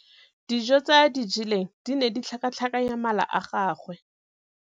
Dijô tse a di jeleng di ne di tlhakatlhakanya mala a gagwe.